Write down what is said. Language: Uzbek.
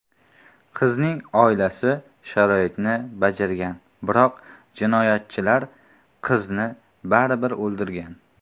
Qizning oilasi shartni bajargan, biroq jinoyatchilar qizni baribir o‘ldirgan.